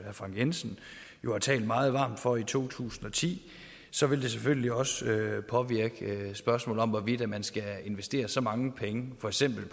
og frank jensen jo talte meget varmt for i to tusind og ti så vil det selvfølgelig også påvirke spørgsmålet om hvorvidt man skal investere så mange penge for eksempel